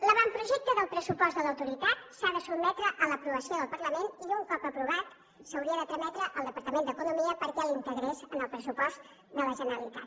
l’avantprojecte del pressupost de l’autoritat s’ha de sotmetre a l’aprovació del parlament i un cop aprovat s’hauria de trametre al departament d’economia perquè l’integrés en el pressupost de la generalitat